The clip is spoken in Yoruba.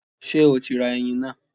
Ṣé o ti ra ẹyin náà?